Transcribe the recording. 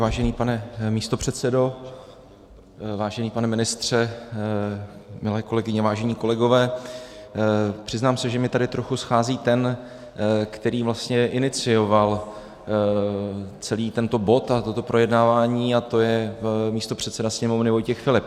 Vážený pane místopředsedo, vážený pane ministře, milé kolegyně, vážení kolegové, přiznám se, že mi tady trochu schází ten, který vlastně inicioval celý tento bod a toto projednávání, a to je místopředseda Sněmovny Vojtěch Filip.